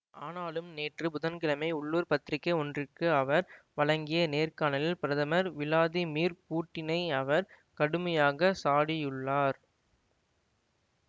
ஆனாலும் நேற்று புதன்கிழமை உள்ளூர் பத்திரிக்கை ஒன்றிற்கு அவர் வழங்கிய நேர்காணலில் பிரதமர் விளாதிமிர் பூட்டினை அவர் கடுமையாக சாடியுள்ளார்